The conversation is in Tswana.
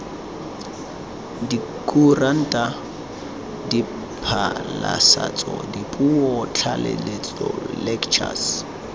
dikuranta diphasalatso dipuo tlhatlhelelo lectures